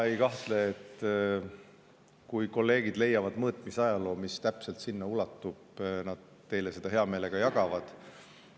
Ma ei kahtle selles, et kui kolleegid leiavad mõõtmis, mis täpselt sinna ulatuvad, siis nad neid teiega hea meelega jagavad.